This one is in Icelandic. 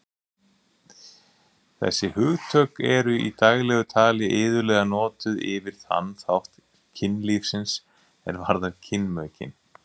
Þessi hugtök eru í daglegu tali iðulega notuð yfir þann þátt kynlífsins er varðar kynmökin.